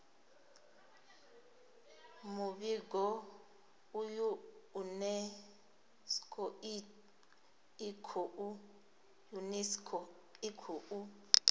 muvhigo uyu unesco i khou